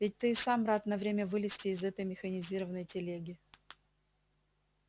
ведь ты и сам рад на время вылезти из этой механизированной телеги